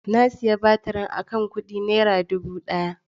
Na sayi batirin akan kudi naira dubu daya.